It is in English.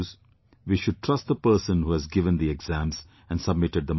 We should trust the person who has given the exams and submitted the marks